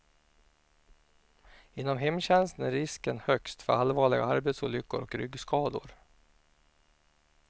Inom hemtjänsten är risken högst för allvarliga arbetsolyckor och ryggskador.